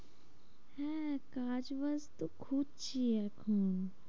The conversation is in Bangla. হ্যাঁ কাজ বাজ তো খুঁজছি এখন।